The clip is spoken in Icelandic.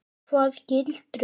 Hvaða gildru?